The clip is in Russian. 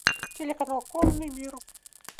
телеканал конный мир